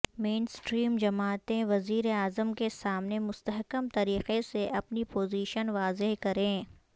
مین stream جماعتیں وزیر اعظم کے سامنے مستحکم طریقے سے اپنی پوزیشن واضح کریں